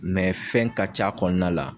Mɛ fɛn ka c'a kɔnɔna la